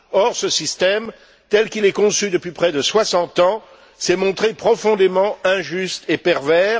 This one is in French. Or, ce système, tel qu'il est conçu depuis près de 60 ans, s'est montré profondément injuste et pervers.